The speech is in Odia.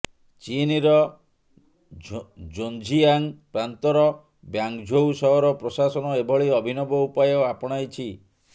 ଚୀନର ଜୋଝିୟାଙ୍ଗ୍ ପ୍ରାନ୍ତର ବ୍ୟାଙ୍ଗ୍ଝୋଉ ସହର ପ୍ରଶାସନ ଏଭଳି ଅଭିନବ ଉପାୟ ଆପଣାଇଛି